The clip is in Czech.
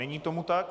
Není tomu tak.